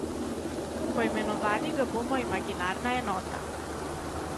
Poimenovali ga bomo imaginarna enota.